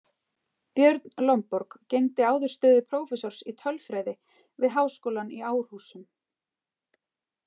Björn Lomborg gegndi áður stöðu prófessors í tölfræði við háskólann í Árhúsum.